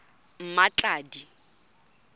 mmatladi